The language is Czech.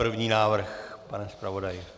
První návrh, pane zpravodaji?